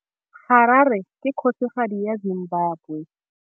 Harare ke kgosigadi ya Zimbabwe.